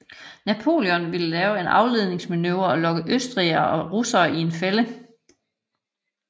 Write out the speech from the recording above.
Napoleon ville lave en afledningsmanøvre og lokke østrigerne og russerne i en fælde